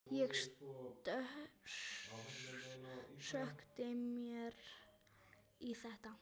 Ég sökkti mér í þetta.